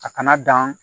A kana dan